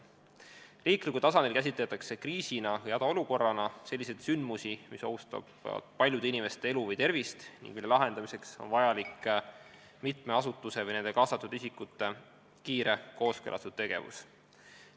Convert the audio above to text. Riiklikul tasandil käsitatakse kriisina või hädaolukorrana selliseid sündmusi, mis ohustavad paljude inimeste elu või tervist ning mille lahendamiseks on vajalik mitme asutuse või ka nende kaasatud isikute kiire kooskõlastatud tegevus.